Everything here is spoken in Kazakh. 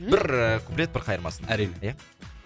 бір ііі куплет бір қайырмасын әрине